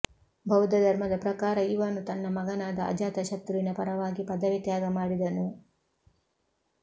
ಬೌದ್ದಧರ್ಮದ ಪ್ರಕಾರ ಇವನು ತನ್ನ ಮಗನಾದ ಅಜಾತಶತ್ರುವಿನ ಪರವಾಗಿ ಪದವಿ ತ್ಯಾಗ ಮಾಡಿದನು